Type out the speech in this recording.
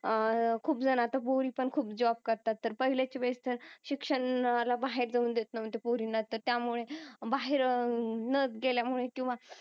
अह खूप जण आता पोरी पण खूप जॉब करतात तर पहिल्याच्या वेळेस तर शिक्षणाला बाहेर जाऊ देत नव्हते पोरींना तर त्यामुळे बाहेर न गेल्यामुळे किंवा